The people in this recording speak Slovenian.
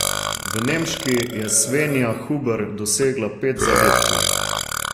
V nemški je Svenja Huber dosegla pet zadetkov.